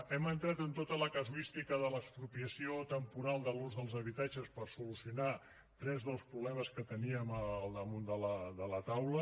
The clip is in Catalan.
hem entrat en tota la casuística de l’expropiació temporal de l’ús dels habitatges per solucionar tres dels problemes que teníem al damunt de la taula